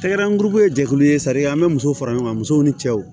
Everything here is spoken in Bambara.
Tɛgɛrɛ kuru ye jɛkulu ye sariya an bɛ musow fara ɲɔgɔn kan musow ni cɛw